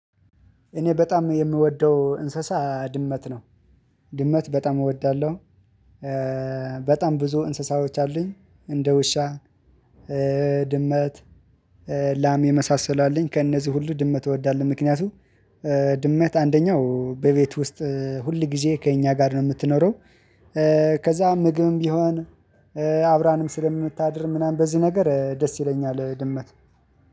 እኔ በጣም የምወደው እንስሳ ድመት ነው። ድመት በጣም እወዳለሁ። በጣም ብዙ እንስሳዎች አሉኝ እንደ ውሻ ድመት ላም የመሳሰሉ አለኝ። ከእነዚህ ሁሉ ድመት እወዳለሁ ምክንያቱም ድመት አንደኛው በቤት ውስጥ ሁል ጊዜ ከእኛ ጋር ነው የምትኖረው። ከዛ ምግብም ቢሆን አብራንም ስለምታድር ምናምን በዚህ ነገር ደስ ይለኛል ድመት።